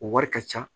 O wari ka ca